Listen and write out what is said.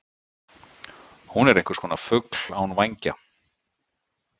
Hún er einhverskonar fugl án vængja.